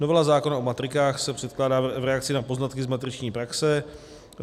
Novela zákona o matrikách se předkládá v reakci na poznatky z matriční praxe.